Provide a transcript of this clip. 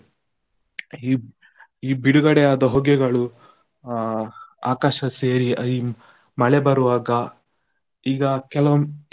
ಈ ಬಿಡುಗಡೆ ಆದ ಹೊಗೆಗಳು, ಅಹ್ ಆಕಾಶ ಸೇರಿ ಮಳೆ ಬರ್ವಾಗ ಈಗ ಕೆಲವು.